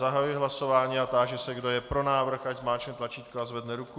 Zahajuji hlasování a táži se, kdo je pro návrh, ať zmáčkne tlačítko a zvedne ruku.